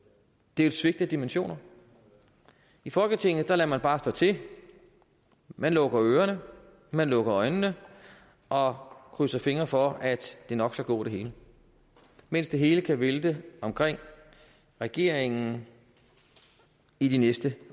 det er et svigt af dimensioner i folketinget lader man bare stå til man lukker ørerne man lukker øjnene og krydser fingre for at det nok skal gå det hele mens det hele kan vælte omkring regeringen i de næste